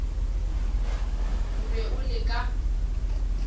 o be o le ka